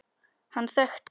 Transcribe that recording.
Hann þekkti